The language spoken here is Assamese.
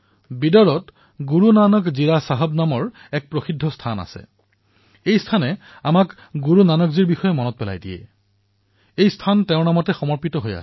বিদৰত গুৰুনানক জীৰা চাহেব নামৰ এক সুপ্ৰসিদ্ধ স্থান আছে যি গুৰুনানক দেৱজীৰ কথা সোঁৱৰণ কৰায়